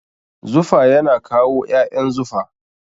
Zufa yana kawo ƴaƴan zufa.